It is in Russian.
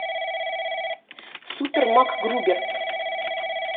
супер макгрубер